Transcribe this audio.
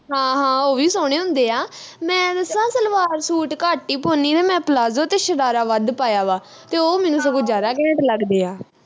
ਹਾਂ ਹਾਂ ਉਹ ਵੀ ਸੋਹਣੇ ਹੁੰਦੇ ਆ ਮੈਂ ਦੱਸਾ ਸਲਵਾਰ ਸੂਟ ਘੱਟ ਈ ਪਾਉਣੀ ਮੈਂ ਪਲਾਜੋ ਤੇ ਸ਼ਰਾਰਾ ਵੱਧ ਪਾਇਆ ਵਾ ਤੇ ਉਹ ਮੈਨੂੰ ਸਗੋਂ ਜਿਆਦਾ ਘੈਂਟ ਲੱਗਦੇ ਆ